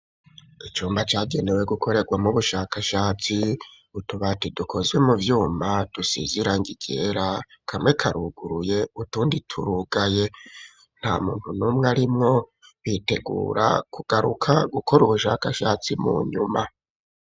Icumba cagenewe gukorerwamwo ubushakashatsi, utubati dukozwe mu vyuma dusize irangi ryera kamwe karuguruye utundi turugaye nta muntu numwe arimwo bitegura kugaruka gukora ubushakashatsi mu nyuma.